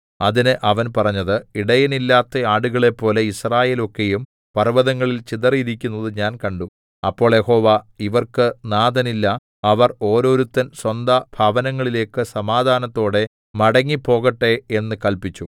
അതിന് അവൻ പറഞ്ഞത് ഇടയനില്ലാത്ത ആടുകളെപ്പോലെ യിസ്രായേൽ ഒക്കെയും പർവ്വതങ്ങളിൽ ചിതറിയിരിക്കുന്നത് ഞാൻ കണ്ടു അപ്പോൾ യഹോവ ഇവർക്ക് നാഥനില്ല അവർ ഓരോരുത്തൻ സ്വന്തം ഭവനങ്ങളിലേക്ക് സമാധാനത്തോടെ മടങ്ങിപ്പോകട്ടെ എന്ന് കല്പിച്ചു